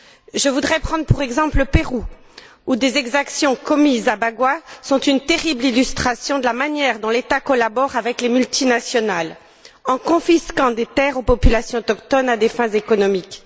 Je voudrais prendre pour exemple le Pérou, où des exactions commises à Bagua sont une terrible illustration de la manière dont l'État collabore avec les multinationales en confisquant des terres aux populations autochtones à des fins économiques.